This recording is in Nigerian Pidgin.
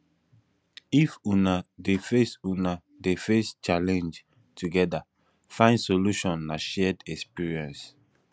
if una dey face una dey face challenge togeda find solution na shared experience